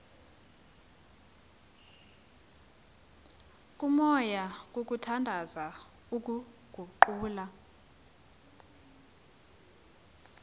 komoya kukhuthaza ukuguqula